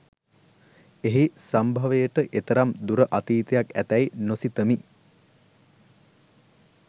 එහි සම්භවයට එතරම් දුර අතීතයක් ඇතැයි නොසිතමි